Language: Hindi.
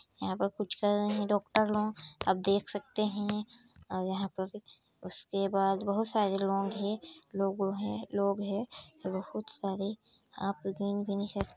यह पर कुछ करे हे डॉक्टर लोग अब देख सकते है। यहाँ पास उसके बाद बहुत सारे लोग हे लोगो हे लोग हे। बहुत सारे आप गिन भी नही सकते--